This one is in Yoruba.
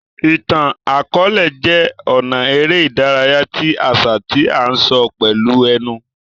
Ìtàn-àkọọlẹ jé ọnà eré ìdárayá ti àṣà tí a n sọ pẹlú ẹnu